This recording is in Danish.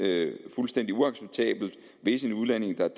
det fuldstændig uacceptabelt hvis en udlænding der er